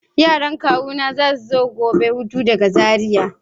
Yaran kawuna za su zo hutu gobe daga Zariya.